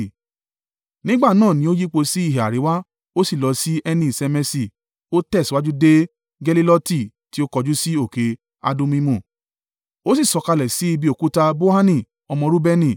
Nígbà náà ni ó yípo sí ìhà àríwá, ó sì lọ sí Ẹni-Ṣemeṣi, ó tẹ̀síwájú dé Geliloti tí ó kọjú sí òkè Adummimu, ó sì sọ̀kalẹ̀ sí ibi Òkúta Bohani ọmọ Reubeni.